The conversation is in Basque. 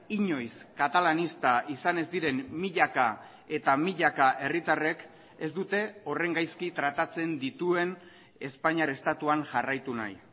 inoiz katalanista izan ez diren milaka eta milaka herritarrek ez dute horren gaizki tratatzen dituen espainiar estatuan jarraitu nahi